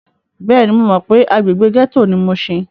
Bẹ́ẹ̀ni, mo mọ pé agbègbè gẹ́tò ni mushin.